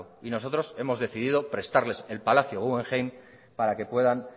y nosotros hemos decidido prestarles el palacio guggenheim para que puedan